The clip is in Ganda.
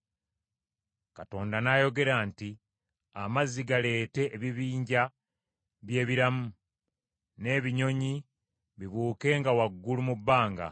Katonda n’ayogera nti, “Amazzi galeete ebibinja by’ebiramu, n’ebinyonyi bibuukenga waggulu mu bbanga.”